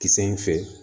Kisɛ in fɛ